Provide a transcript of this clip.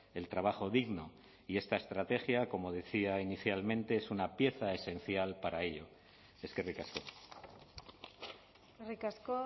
el trabajo digno y esta estrategia como decía inicialmente es una pieza esencial para ello eskerrik asko eskerrik asko